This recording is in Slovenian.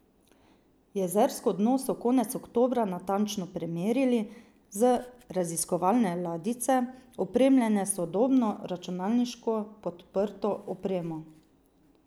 Jezersko dno so konec oktobra natančno premerili z raziskovalne ladjice, opremljene s sodobno, računalniško podprto opremo.